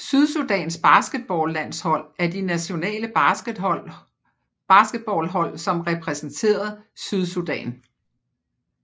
Sydsudans basketballlandshold er de nationale basketball hold som repræsenteret Sydsudan